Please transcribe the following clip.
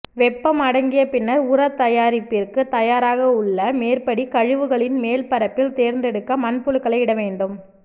வெப்பம் அடங்கிய பின்னர் உரத் தயாரிப்பிற்கு தயாராக உள்ள மேற்படி கழிவுகளின் மேல் பரப்பில் தேர்ந்தெடுக்க மண்புழுக்களை இடவேண்டும்